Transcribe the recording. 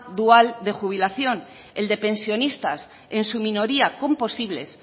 dual de jubilación el de pensionistas en su minoría con posibles